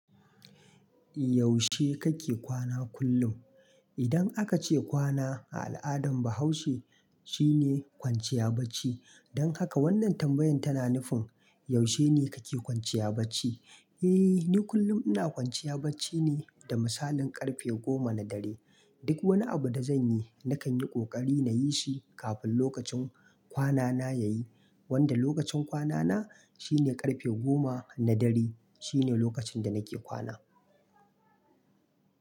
Yaushe kake kwana kullum? Idan aka ce kwana a al'adan Bahaushe, shine kwanciya bacci. Don haka wannan tambayan tana nufin yaushe ne kake kwanciya bacci? Eh, ni kullum ina kwanciya bacci ne da misalin karfe goma na dare. Duk wani abu da zan yi, nakan yi ƙoƙari na yi shi kafin lokacin kwanana ya yi. Wanda lokacin kwanana shine ƙarfe goma na dare shine lokacin da nake kwana.